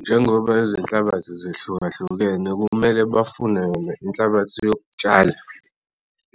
Njengoba izinhlabathi zihlukahlukene kumele bafune yona inhlabathi yokutshala